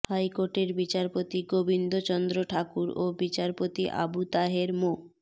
হাইকোর্টের বিচারপতি গোবিন্দ চন্দ্র ঠাকুর ও বিচারপতি আবু তাহের মো